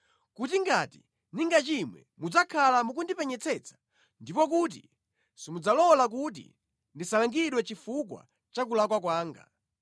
Kuti ngati ndingachimwe mudzakhala mukundipenyetsetsa ndipo kuti simudzalola kuti ndisalangidwe chifukwa cha kulakwa kwanga.